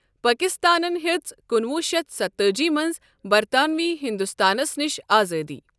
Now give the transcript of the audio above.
پٲکِستٲنَن ہیٛژ کُنوُہ شیتھ ستتأجی مَنٛز بَرطانۆی ہِندوستانس نِش آزٲدی۔